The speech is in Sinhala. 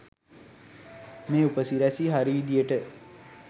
මේ උපසිරසි හරි විදියට